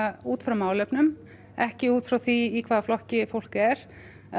út frá málefnum ekki út frá því í hvaða flokki fólk er